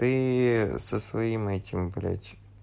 ты со своим этим блять